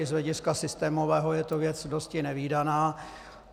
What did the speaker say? I z hlediska systémového je to věc dosti nevídaná.